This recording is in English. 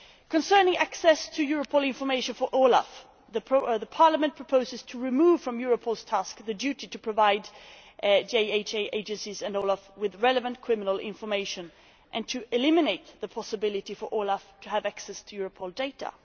Concerning access to Europol information for OLAF, Parliament proposes to remove from Europol's tasks the duty to provide JHA Agencies and OLAF with relevant criminal information and to eliminate the possibility for OLAF to have access to Europol data.